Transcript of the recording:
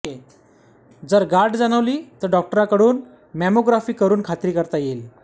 जर गाठ जाणवली तर डॉक्टरांकडून मॅमोग्राफी करून खात्री करता येईल